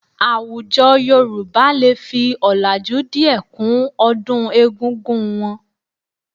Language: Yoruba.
Àwùjọ Yorùbá lè fi ọ̀làjú díẹ̀ kún ọdún egúngún wọn